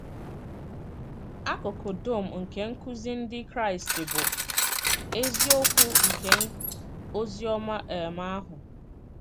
Akụkụ dum nke nkuzi Ndị Kraịst bụ “ eziokwu nke ozi ọma um ahụ. ”